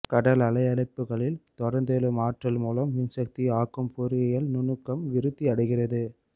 கடல் அலையடிப்புகளில் தொடர்ந்தெழும் ஆற்றல் மூலம் மின்சக்தி ஆக்கும் பொறியியல் நுணுக்கம் விருத்தி அடைகிறது